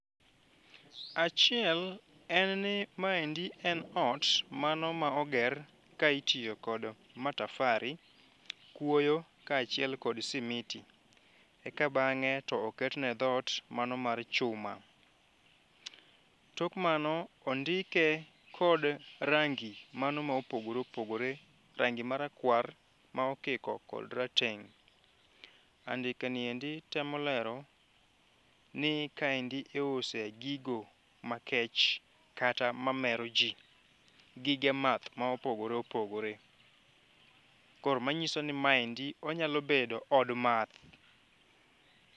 Achiel en ni ma endi en ot mano ma oger ka itio kodo matafari, kuoyo kachiel kod simiti eka bangg'e to oketne dhot mano mar chuma. Tok mano ondike kod rangi mano ma opogore opogore, rangi marakwar ma okiko kod rateng'.Andika ni endi temo lero ni ka endi iuse gigo makech kata mamero jii, gige math ma opogore opogore. Koro manyisoni ma endi onyalo bedo od math.